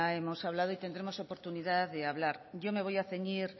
hemos hablado y tendremos oportunidad de hablar yo me voy a ceñir